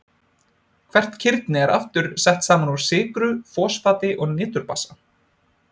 Hvert kirni er aftur sett saman úr sykru, fosfati og niturbasa.